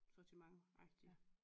Sortimentagtig